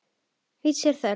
Vits er þörf